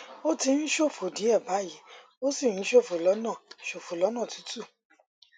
ó ti ń ṣòfò díẹ báyìí ó sì ń ṣòfò lọnà ṣòfò lọnà tútù